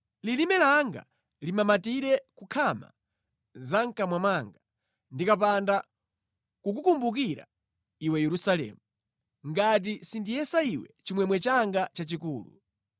Lilime langa limamatire ku nkhama za mʼkamwa mwanga ndikapanda kukukumbukira iwe Yerusalemu, ngati sindiyesa iwe chimwemwe changa chachikulu.